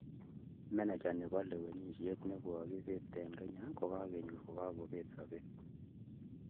Meneja ne bo lewenisiet ne kobet eng Kenya kokinyor kagosirto